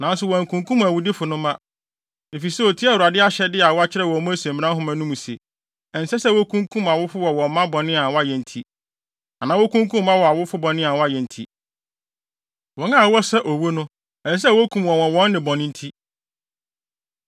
Nanso wankunkum awudifo no mma, efisɛ otiee Awurade ahyɛde a wɔakyerɛw wɔ Mose mmara nhoma no mu no se: Ɛnsɛ sɛ wokunkum awofo wɔ wɔn mma bɔne a wɔayɛ nti, anaa wokunkum mma wɔ awofo bɔne a wɔayɛ nti. Wɔn a wɔsɛ owu no, ɛsɛ sɛ wokum wɔn wɔ wɔn nnebɔne nti.